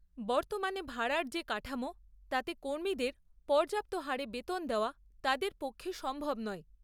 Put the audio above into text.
বর্তমানে ভাড়ার যে কাঠামো তাতে কর্মীদের পর্যাপ্ত হারে বেতন দেওয়া তাদের পক্ষে সম্ভব নয়।